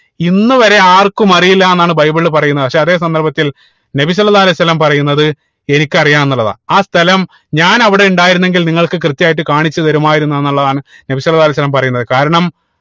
ഇന്നുവരെ ആർക്കും അറിയില്ല എന്നാണ് ബൈബിളിൽ പറയുന്നത് പക്ഷേ അതേ സന്ദർഭത്തിൽ നബി സ്വല്ലള്ളാഹു അലൈഹി വസല്ലം പറയുന്നത് എനിക്ക് അറിയാം ന്നുള്ളതാണ് ആഹ് സ്ഥലം ഞാൻ അവിടെ ഉണ്ടായിരുന്നെങ്കിൽ നിങ്ങൾക്ക് കൃത്യായിട്ട് കാണിച്ചു തരുമായിരുന്നു എന്നുള്ളതാണ് നബി സ്വല്ലള്ളാഹു അലൈഹി വസല്ലം പറയുന്നത് കാരണം